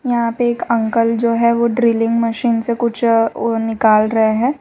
यहां पे एक अंकल जो है वो ड्रिलिंग मशीन से कुछ और निकल रहे हैं।